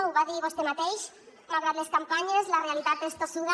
ho va dir vostè mateix malgrat les campanyes la realitat és tossuda